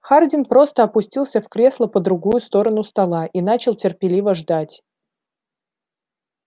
хардин просто опустился в кресло по другую сторону стола и начал терпеливо ждать